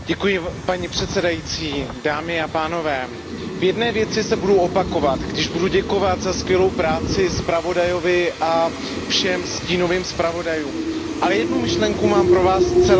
V jedné věci se budu opakovat, když budu děkovat za skvělou práci zpravodajovi a všem stínovým zpravodajům, ale jednu myšlenku mám pro vás zcela originální, kterou tady ještě dneska nikdo neřekl.